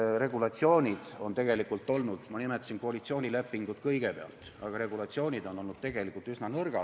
Need regulatsioonid on tegelikult olnud – ma nimetasin kõigepealt koalitsioonilepingut – üsna nõrgad.